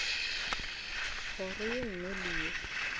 kgoro ye nngwe le ye